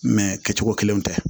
kɛcogo kelenw tɛ